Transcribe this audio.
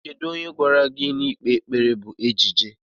Onye gwara gị na ikpe ekpere bụ ejije?